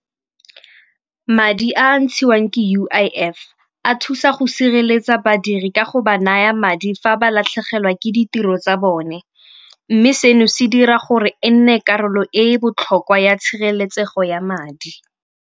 Madi a a ntshiwang ke U_I_F a thusa go sireletsa badiri ka go ba naya madi fa ba latlhegelwa ke ditiro tsa bone, mme seno se dira gore e nne karolo e e botlhokwa ya tshireletsego ya madi.